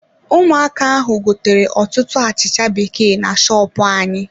Ụmụaka ahụ gotere ọtụtụ achịcha bekee na shopu anyị.